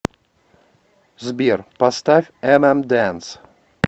сбер поставь эмэмдэнс